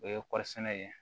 O ye kɔɔri sɛnɛ ye